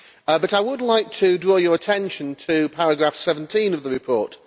However, I would like to draw your attention to paragraph 17 of the report.